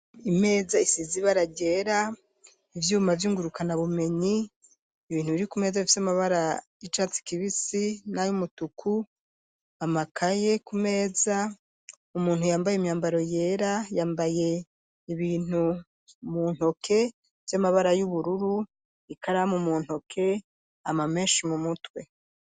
Imeza isize ibara ryera, ivyuma vyingurukana bumenyi, ibintu biri ku meza bifite amabara y'icatsi kibisi n’ayumutuku, amakaye ku meza, umuntu yambaye imyambaro yera yambaye ibintu mu ntoke by'amabara y'ubururu, ikaramu mu ntoke ama menshi, mu mutwe.